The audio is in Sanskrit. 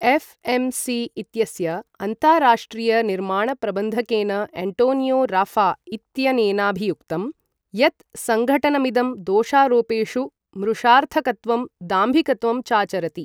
एफ्.एम्.सी. इत्यस्य अन्ताराष्ट्रियनिर्माणप्रबन्धकेन एण्टोनियो राफा इत्यनेनाभियुक्तं यत् सङ्घटनमिदं दोषारोपेषु मृषार्थकत्वं दाम्भिकत्वं चाचरति।